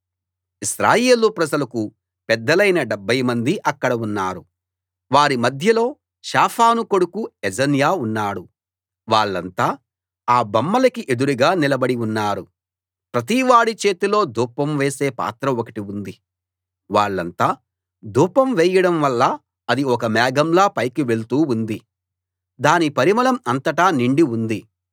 ఇశ్రాయేలు ప్రజలకు పెద్దలైన డెబ్భై మంది అక్కడ ఉన్నారు వారి మధ్యలో షాఫాను కొడుకు యజన్యా ఉన్నాడు వాళ్ళంతా ఆ బొమ్మలకి ఎదురుగా నిలబడి ఉన్నారు ప్రతివాడి చేతిలో ధూపం వేసే పాత్ర ఒకటి ఉంది వాళ్ళంతా ధూపం వేయడం వల్ల అది ఒక మేఘంలా పైకి వెళ్తూ ఉంది దాని పరిమళం అంతటా నిండి ఉంది